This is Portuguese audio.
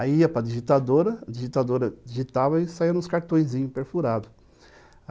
Aí ia para digitadora, a digitadora digitava e saia nos cartõezinhos perfurados.